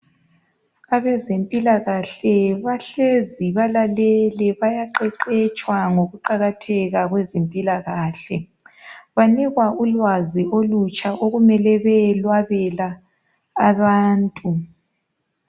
Abezempilakahle bahlezi balalele, bayaqeqetshwa ngokuqakatheka kwezempilakahle. Banikwa ulwazi olutsha okumele beyelwabela abantu.